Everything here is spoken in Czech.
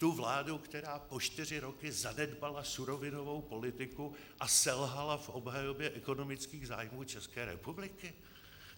Tu vládu, která po čtyři roky zanedbala surovinovou politiku a selhala v obhajobě ekonomických zájmů České republiky?